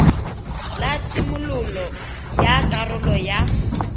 la tshimololo ya karolo ya